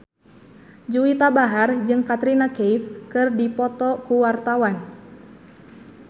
Juwita Bahar jeung Katrina Kaif keur dipoto ku wartawan